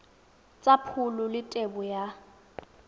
tsa pholo le tebo ya